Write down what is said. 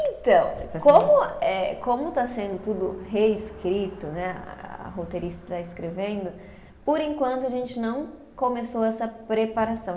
Então, como eh, como está sendo tudo reescrito né, a roteirista está escrevendo, por enquanto a gente não começou essa preparação.